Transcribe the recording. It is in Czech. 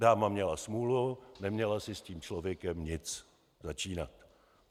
Dáma měla smůlu, neměla si s tím člověkem nic začínat.